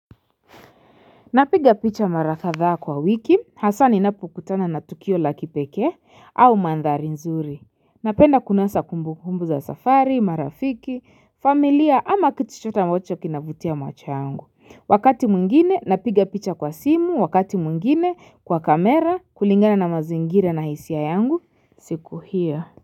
Napiga picha mara kadhaa kwa wiki, hasa ninapo kutana na tukio la kipeke, au mandhari nzuri. Napenda kunasa kumbukumbu za safari, marafiki, familia ama kitu chochote ambacho kinavutia macho yangu. Wakati mwingine, napiga picha kwa simu, wakati mwngine, kwa kamera, kulingana na mazingira na hisia yangu, siku hiyo.